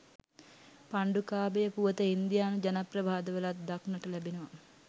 පණ්ඩුකාභය පුවත ඉන්දියානු ජනප්‍රවාදවලත් දක්නට ලැබෙනවා